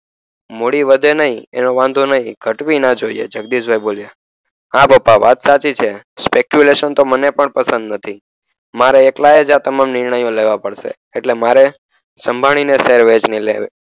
મુળી વધે નઇ એનો વાંધો નઇ ઘટવી ના જોઈએ જગદીશભાઇ બોલ્યા હ પપ્પા વાત સાચી છે speculation તો મને પણ પસંદ નથી મારે એકલાએજ આ તમામ નિર્ણયો લેવા પડશે એટલે મારે સંભાળીને લેવી